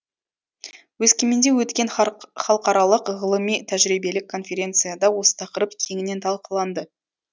өскеменде өткен халықаралық ғылыми тәжірибелік конференцияда осы тақырып кеңінен талқыланды